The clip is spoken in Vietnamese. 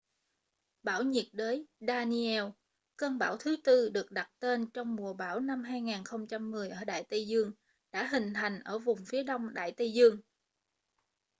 bão nhiệt đới danielle cơn bão thứ tư được đặt tên trong mùa bão năm 2010 ở đại tây dương đã hình thành ở vùng phía đông đại tây dương